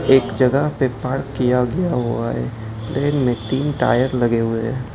एक जगह पे पार्क किया गया हुआ है प्लेन में तीन टायर लगे हुए है।